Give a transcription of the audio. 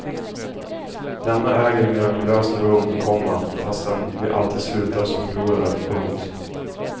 Denna äger mirakulöst rum, komma fastän vi alltid slutar som förlorare. punkt